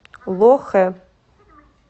лохэ